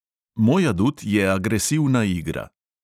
Moj adut je agresivna igra.